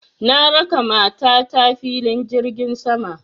Na raka mata ta filin jirgin sama